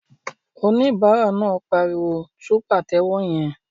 Oníbàárà náà pariwo "tú pàtẹ́wọ́ yẹn!"